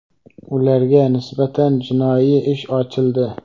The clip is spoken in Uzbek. Ularga nisbatan jinoiy ish ochildi.